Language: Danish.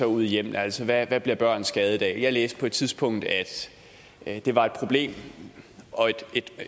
ude i hjemmene altså hvad bliver børn skadet af jeg læste på et tidspunkt at det var et problem og